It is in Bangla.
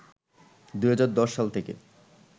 ২০১০ সাল থেকে